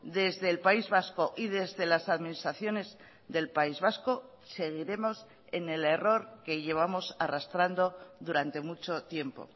desde el país vasco y desde las administraciones del país vasco seguiremos en el error que llevamos arrastrando durante mucho tiempo